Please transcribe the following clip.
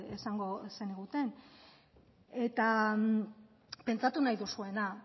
esango zeniguten eta pentsatu nahi duzuena